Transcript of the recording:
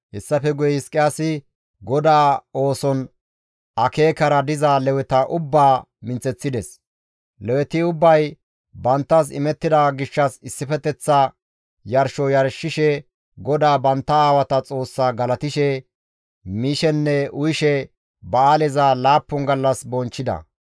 Hessafe guye Hizqiyaasi GODAA ooson akeekara diza Leweta ubbaa minththeththides. Leweti ubbay banttas imettida gishshas issifeteththa yarsho yarshishe GODAA bantta aawata Xoossaa galatishe, mishenne uyishe ba7aaleza laappun gallas bonchchida.